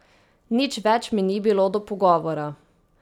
Nič več mi ni bilo do pogovora.